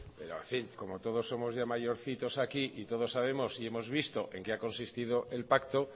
pero en fin como todos somos ya mayorcitos aquí y todos sabemos y hemos visto en qué ha consistido el pacto